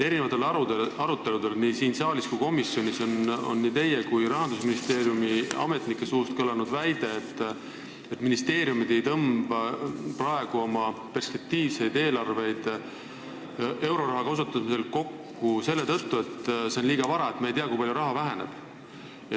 Erinevatel aruteludel nii siin saalis kui ka komisjonis on teie ja Rahandusministeeriumi ametnike suust kõlanud väide, et ministeeriumid ei tõmba praegu oma perspektiivseid eelarveid euroraha kasutamise koha pealt kokku, sest selleks on liiga vara – me ei tea, kui palju raha vähemaks jääb.